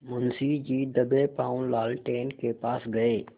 मुंशी जी दबेपॉँव लालटेन के पास गए